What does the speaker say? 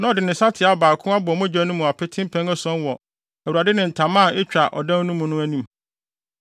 na ɔde ne nsateaa baako abɔ mogya no mu apete mpɛn ason wɔ Awurade ne ntama a etwa ɔdan no mu no anim.